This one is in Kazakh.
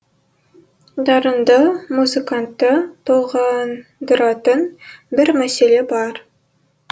дарынды музыкантты толғандыратын бір мәселе бар